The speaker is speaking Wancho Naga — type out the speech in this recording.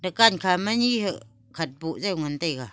dukan kha ma ni hakhat boh jaw ngan taiga.